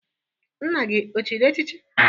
Nna gi o chịrị echichi?